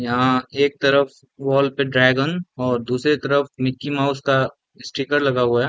यहाँ एक तरफ वॉल पे ड्राइगन और दूसरे तरफ मिक्की_माउस का स्टिकर लगा है।